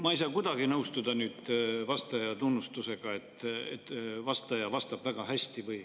Ma ei saa kuidagi nüüd nõustuda vastaja tunnustamisega, et ta vastab väga hästi.